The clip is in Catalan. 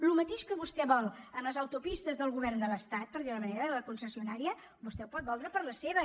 el mateix que vostè vol en les autopistes del govern de l’estat per dir ho d’una manera de la concessionària vostè ho pot voler per les seves